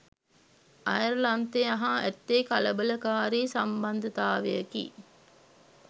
අයර්ලන්තය හා ඇත්තේ කලබලකාරී සම්බන්ධතාවයකි